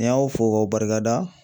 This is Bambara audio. Ni n y'aw fo k'aw barika da